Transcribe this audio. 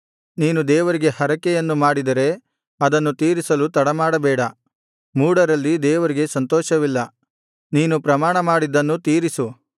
ನೀನು ದೇವರಿಗೆ ಹರಕೆಯನ್ನು ಮಾಡಿದರೆ ಅದನ್ನು ತೀರಿಸಲು ತಡಮಾಡಬೇಡ ಮೂಢರಲ್ಲಿ ದೇವರಿಗೆ ಸಂತೋಷವಿಲ್ಲ ನೀನು ಪ್ರಮಾಣಮಾಡಿದ್ದನ್ನು ತೀರಿಸು